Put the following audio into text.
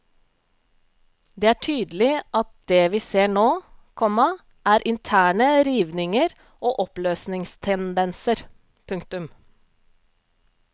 Det er tydelig at det vi ser nå, komma er interne rivninger og oppløsningstendenser. punktum